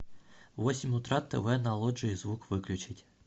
в восемь утра тв на лоджии звук выключить